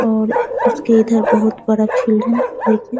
और उसके इधर बहुत बड़ा फील्ड है |